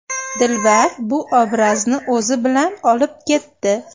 Dilbar bu obrazni o‘zi bilan olib ketdi.